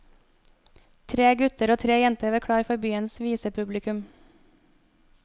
Tre gutter og tre jenter var klar for byens visepublikum.